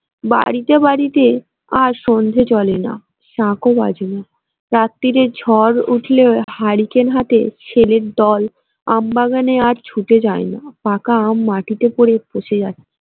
বাড়িতে বাড়িতে আর সন্ধ্যে জলে না শাঁখও বাজে না রাত্তিরে ঝড় উঠলে হারিকেন হাতে ছেলের দল আমবাগানে আর ছুটে যায় না পাকা আম মাটিতে পড়ে পচে যাচ্ছে।